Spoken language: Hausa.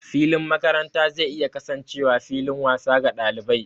Filin makaranta zai iya kasancewa fillin wasa ga ɗalibai.